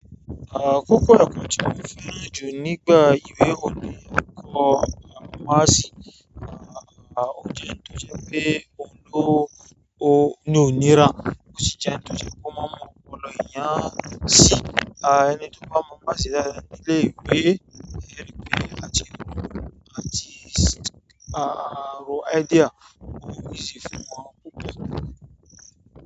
À kókó rà kò tíì fi rí ju nígbà ìwé òní eko másì. À ó ti n tó jẹ́ pé òun tó ó ni òníra. Ó sì ti n tó jẹ́ kó má mọ ọ̀pọ̀lọpọ̀ ènìyàn sì. Ẹni tó bá mọ maths dáadáa nílé ìwé, éèrí pé, àti àti ro idea, ò easy fún won púpọ̀.